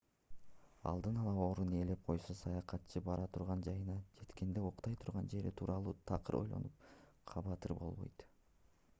алдын ала орун ээлеп койсо саякатчы бара турган жайына жеткенде уктай турган жери тууралуу такыр ойлонуп кабатыр болбойт